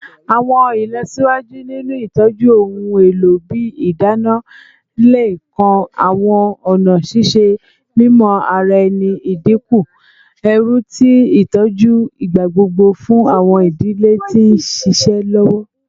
Awọn ilọsiwaju ninu itọju ohun elo ibi idana le kan awọn ọna ṣiṣe mimọ ara ẹni, idinku ẹru ti itọju igbagbogbo fun awọn idile ti n ṣiṣẹ lọwọ.